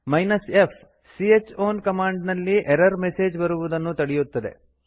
f c ಹ್ ಔನ್ command ನಲ್ಲಿ ಎರರ್ ಮೆಸೇಜ್ ಬರುವುದನ್ನು ತಡೆಯುತ್ತದೆ